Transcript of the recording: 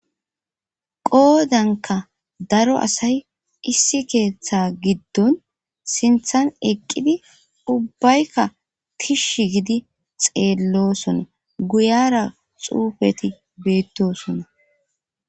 qoodanka daro asay issi keeththe giddon sinthan eqqidi ubbaykka tish gidi xeellosona guyara xuufeti beettosona